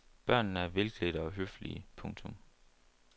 Børnene er velklædte og høflige. punktum